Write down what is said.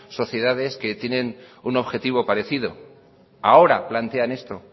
sociedades que tiene un objetivo parecido ahora plantean esto